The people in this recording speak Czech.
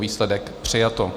Výsledek: přijato.